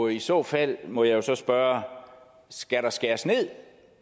i så fald må jeg jo så spørge skal der skæres ned